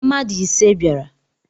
Mmadu ise biara